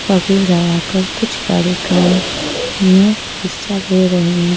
पगड़ी लगाकर कुछ कार्यक्रम में हिस्सा ले रहे हैं।